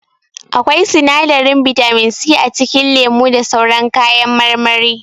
Akwai sinadarin bitamin c a cikin lemu da sauran kayan marmari.